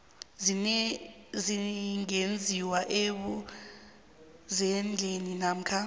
zingenziwa ebuzendeni namkha